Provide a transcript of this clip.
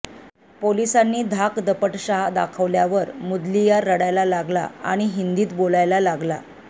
पोलिसांनी धाकदपटशा दाखवल्या मुदलियार रडायला लागला आणि हिंदीत बोलायला लागला